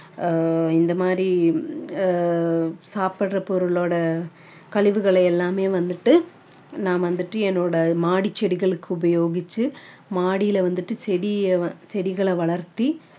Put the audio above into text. ஆஹ் இந்த மாதிரி ஆஹ் சாப்பிடுற பொருளோட கழிவுகளை எல்லாமே வந்துட்டு நான் வந்துட்டு என்னோட மாடி செடிகளுக்கு உபயோகிச்சு மாடியில வந்துட்டு செடிய~ செடிகளை வளர்த்தி